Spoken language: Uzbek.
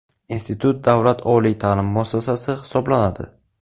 Institut davlat oliy ta’lim muassasasi hisoblanadi.